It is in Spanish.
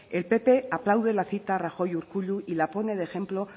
el pp aplaude la cita rajoy urkullu y la pone de ejemplo